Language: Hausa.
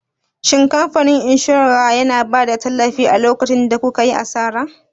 Shin kamfanin inshora yana bada tallafi a lokacin da kukayi asara?